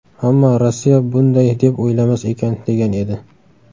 Ammo Rossiya bunday deb o‘ylamas ekan”, degan edi.